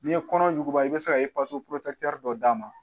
N'i ye kɔnɔ yuguba i bɛ se ka dɔ d'a ma.